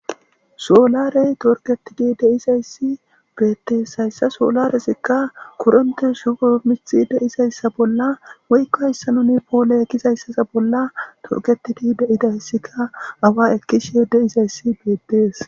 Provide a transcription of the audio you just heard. Soolarey torketidi de'izay assi beettees. Hayssa soolaresikka kuronte shufo mixi de'iayssa bolla woykko hayssanoni poole ekizayssasa bolla torketidi deidayssikka awa ekkishiyo de'iza assi beettees.